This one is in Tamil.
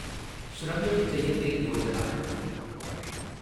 ஷ்ரமேவ் ஜெயதே யோஜனா